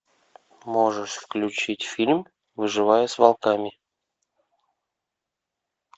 можешь включить фильм выживая с волками